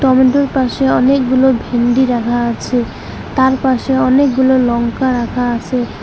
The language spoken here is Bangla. টমেটোর পাশে অনেকগুলো ভিনডি রাখা আছে তার পাশে অনেকগুলো লঙ্কা রাখা আসে।